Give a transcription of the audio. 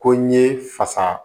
Ko n ye fasa